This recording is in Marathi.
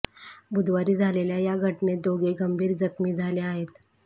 बुधवारी झालेल्या या घटनेत दोघे गंभीर जखमी झाले आहेत